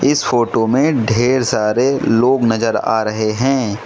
इस फोटो में ढेर सारे लोग नज़र आ रहे हैं।